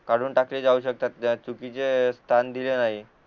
काढून टाकले जाऊ शकतात जर चुकीचे स्थान दिले नाही